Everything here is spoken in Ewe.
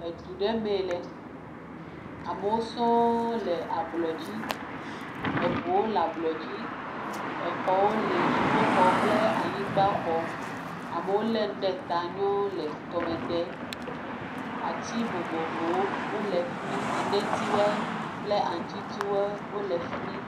Edu ɖe mee le, amewo sɔɔ le ablɔ dzi, eŋuwo le ablɔ dzi, exɔwo le dziƒoxɔ kple anyigba xɔ, amewo lé nuwo ɖe ta nyɔɔ le tɔmɔ dem, atiwo le fi mi, aŋuti tiwo kple enetiwo.